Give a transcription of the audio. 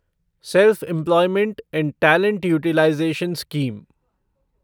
self employment and talent utilisation scheme